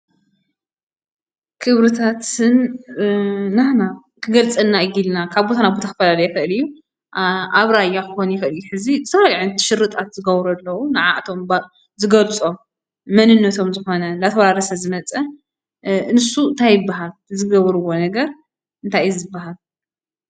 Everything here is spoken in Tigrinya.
ክብርታት ስም ናህና ክገልፀና እዩ ኢልና ካብ ቦታ ናብ ቦታ ክፈለለይ ይኽእል እዩ። ኣብ ራያ ክኾን ይኽእል እዩ። ዝተፈላለየ ሽርጣት ዝገብሩ ኣለው ንዓዓቶም ዝገልፀኦም መንነቶም ዝኾነ እንዳተወራረሰ ዝመፀ። ንሱ እንታይ ይበሃል? ዝገበርዎ ነገር እንታይ ይበሃል ?